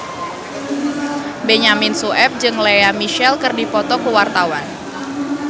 Benyamin Sueb jeung Lea Michele keur dipoto ku wartawan